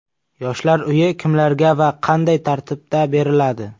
Yoshlar uyi kimlarga va qanday tartibda beriladi?